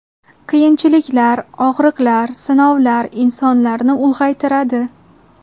Qiyinchiliklar, og‘riqlar, sinovlar insonlarni ulg‘aytiradi.